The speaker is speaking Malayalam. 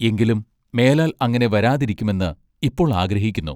എങ്കിലും മേലാൽ അങ്ങിനെ വരാതിരിക്കുമെന്ന് ഇപ്പോൾ ആഗ്രഹിക്കുന്നു.